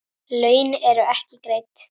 Laun eru ekki greidd.